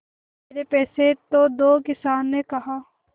मेरे पैसे तो दो किसान ने कहा